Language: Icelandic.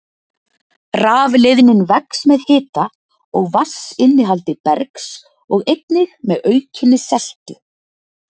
Rafleiðnin vex með hita og vatnsinnihaldi bergs og einnig með aukinni seltu.